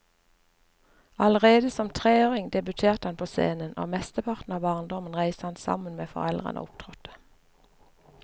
Allerede som treåring debuterte han på scenen, og mesteparten av barndommen reiste han sammen med foreldrene og opptrådte.